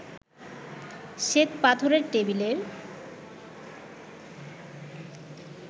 শ্বেতপাথরের টেবিলের